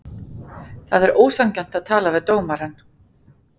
Það er ósanngjarnt að tala um dómarann.